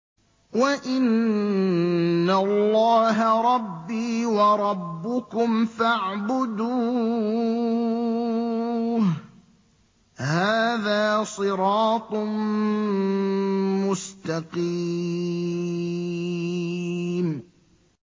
وَإِنَّ اللَّهَ رَبِّي وَرَبُّكُمْ فَاعْبُدُوهُ ۚ هَٰذَا صِرَاطٌ مُّسْتَقِيمٌ